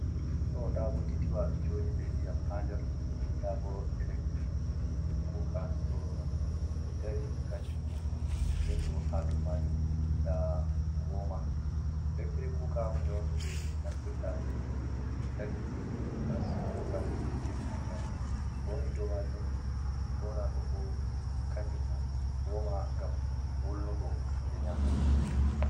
Ɗo nda bokitiwa ɗo jooɗi be ndiyam ha nder, nda bo electrik kuuka ɗo dari kanjumbo, nden bo ha dow maajum nda wooma, electrik kuuka hunde on nde ɓe naftirta be hiite lantarki ko gas ngam defugo nyamdu. Ko woni dow maajum boona ɗo bo kanjum bo wooma, ngam wulnugo hunde nyaamande.